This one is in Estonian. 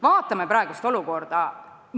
Vaatame praegust olukorda!